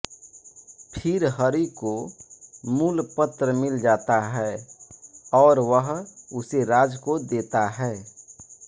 फिर हरि को मूल पत्र मिल जाता है और वह उसे राज को देता है